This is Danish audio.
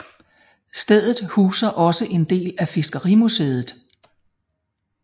Stedet huser også en del af fiskerimuseet